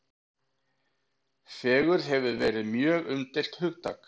Fegurð hefur verið mjög umdeilt hugtak.